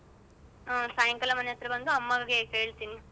ಹಾ ಸಾಯಂಕಾಲ ಮನೆಯತ್ರ ಬಂದು ಅಮ್ಮಂಗೆ ಹೇಳ್ತಿನಿ.